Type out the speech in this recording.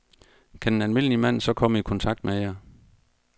Kan en almindelig mand så komme i kontakt med jer?